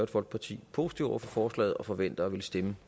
folkeparti positive over for forslaget og forventer at ville stemme